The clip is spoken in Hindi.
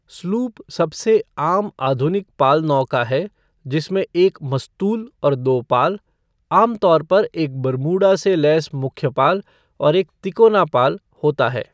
स्लूप सबसे आम आधुनिक पाल नौका है, जिसमें एक मस्तूल और दो पाल, आमतौर पर एक बरमूडा से लैस मुख्यपाल और एक तिकोना पाल, होता है।